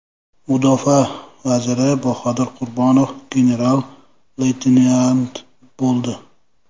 Mudofaa vaziri Bahodir Qurbonov general-leytenant bo‘ldi.